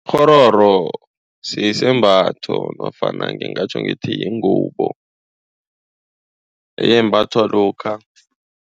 Kghororo sisembatho nofana ngingatjho ngithi yingubo embathwa lokha.